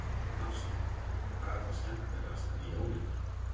Hafsteinn: Hvað er það skemmtilegasta við jólin?